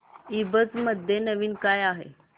ईबझ मध्ये नवीन काय आहे